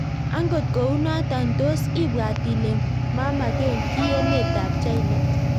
Angot kounotok tos ibwaat ilee mamaken kiy emeet ap china